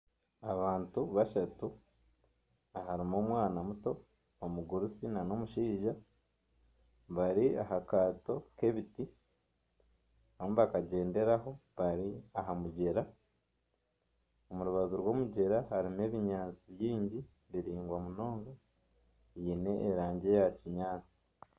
Abantu bashatu harimu omwana muto, omugurusi n'omushaija bari aha kaato k'ebiti barimu nibakagyenderaho bari aha mugyera. Omu rubaju rw'omugyera harimu ebinyaatsi bingi biraingwa munonga byine erangi eya kinyaatsi.